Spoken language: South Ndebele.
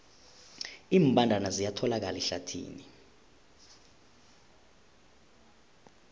iimbandana ziyatholakala ehlathini